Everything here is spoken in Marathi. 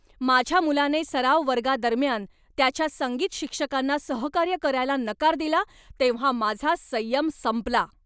माझ्या मुलाने सराव वर्गादरम्यान त्याच्या संगीत शिक्षकांना सहकार्य करायला नकार दिला तेव्हा माझा संयम संपला.